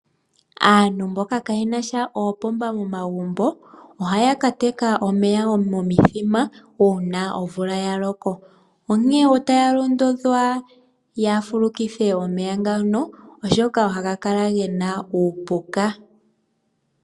Aantu mboka kaayena sha oopomba momagumbo ohaya ka teka omeya wo momithima uuna omvula ya loko, onkene otaya londodhwa ya fulukithe omeya ngano, oshoka ohaga kala gena uupuka.